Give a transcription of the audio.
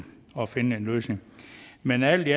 at finde en løsning men alt i